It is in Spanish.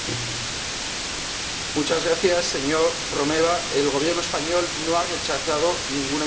Señor Romeva, el Gobierno español no ha rechazado ninguna inversión, como usted ha dicho.